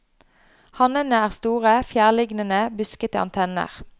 Hannene har store, fjærlignende, buskete antenner.